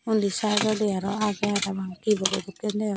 unni side dodi aro aage parapang T_V dokken degong.